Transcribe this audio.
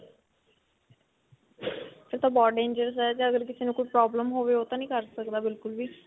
ਫਿਰ ਤਾਂ ਬਹੁਤ dangerous ਹੈ ਇਹ ਤਾਂ ਅਗਰ ਕਿਸੇ ਨੂੰ ਕੁਝ problem ਹੋਵੇ ਉਹ ਤਾਂ ਨੂੰ ਕਰ ਸਕਦਾ ਬਿਲਕੁਲ ਵੀ.